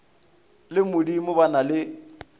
le modimo ba na le